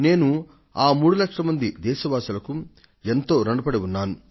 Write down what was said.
నేను ఆ 3 లక్షల మంది దేశ వాసులకు ఎంతో రుణపడి ఉన్నాను